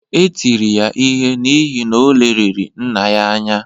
Etiri ya ihe n’ihi, o leliri nna ya anya